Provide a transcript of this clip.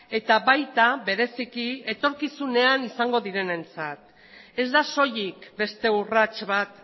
eta baita bereziki etorkizunean izango direnentzat ez da soilik beste urrats bat